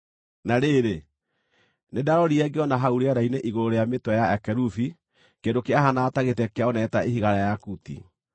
Na rĩrĩ, nĩndarorire ngĩona hau rĩera-inĩ igũrũ rĩa mĩtwe ya akerubi kĩndũ kĩahaanaga ta gĩtĩ kĩa ũnene ta ihiga rĩa yakuti.